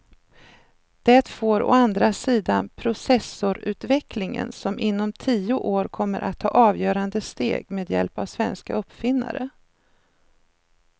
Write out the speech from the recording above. Det får å andra sidan processorutvecklingen som inom tio år kommer att ta avgörande steg med hjälp av svenska uppfinnare.